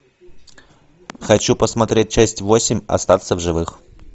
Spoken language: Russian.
хочу посмотреть часть восемь остаться в живых